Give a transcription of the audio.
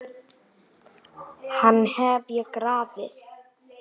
Hann hef ég grafið.